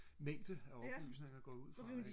mængde af opysninger går jeg ud fra ikke